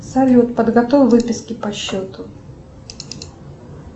салют подготовь выписки по счету